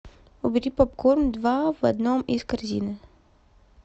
убери попкорн два в одном из корзины